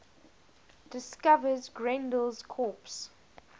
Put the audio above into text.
discovers grendel's corpse